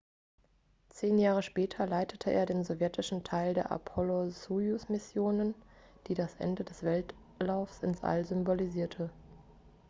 zehn jahre später leitete er den sowjetischen teil der apollo-sojus-mission die das ende des wettlaufs ins all symbolisierte